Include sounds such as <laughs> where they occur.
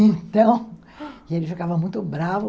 <laughs> Então, ele ficava muito bravo.